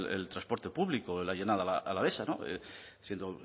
el transporte público en la llanada alavesa siendo